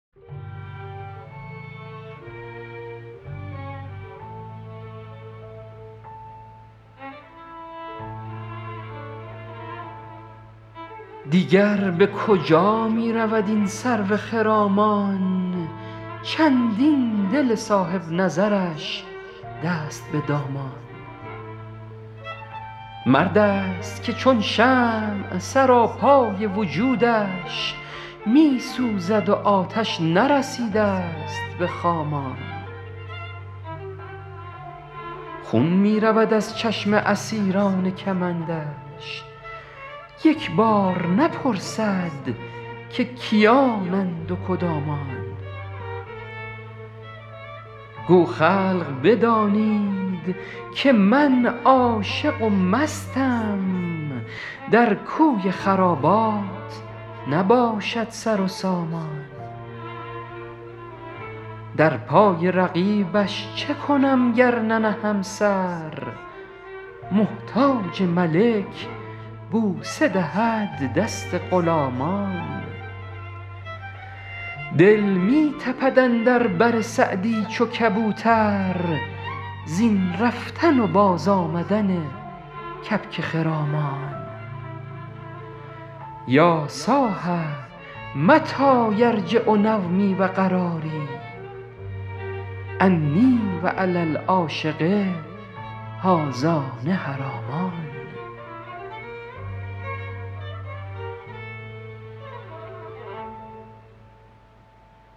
دیگر به کجا می رود این سرو خرامان چندین دل صاحب نظرش دست به دامان مرد است که چون شمع سراپای وجودش می سوزد و آتش نرسیده ست به خامان خون می رود از چشم اسیران کمندش یک بار نپرسد که کیانند و کدامان گو خلق بدانید که من عاشق و مستم در کوی خرابات نباشد سر و سامان در پای رقیبش چه کنم گر ننهم سر محتاج ملک بوسه دهد دست غلامان دل می تپد اندر بر سعدی چو کبوتر زین رفتن و بازآمدن کبک خرامان یا صاح متی یرجع نومی و قراری انی و علی العاشق هذان حرامان